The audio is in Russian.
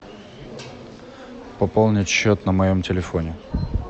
пополнить счет на моем телефоне